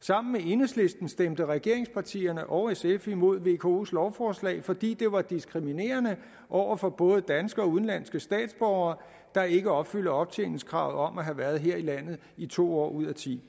sammen med enhedslisten stemte regeringspartierne og sf imod vkos lovforslag fordi det var diskriminerende over for både danske og udenlandske statsborgere der ikke opfylder optjeningskravet om at have været her i landet i to år ud af tiende